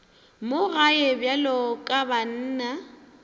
mo gae bjalo ka banna